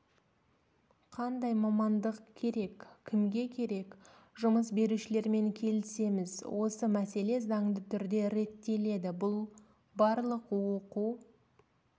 қандай мамандық керек кімге керек жұмыс берушілермен келісеміз осы мәселе заңды түрде реттеледі бұл барлық оқу